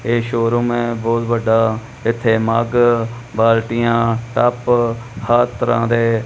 ਇਹ ਸ਼ੋਰੂਮ ਐ ਬਹੁਤ ਵੱਡਾ। ਇੱਥੇ ਮੱਗ ਬਾਲਟੀਆਂ ਟੱਬ ਹਰ ਤਰ੍ਹਾਂ ਦੇ --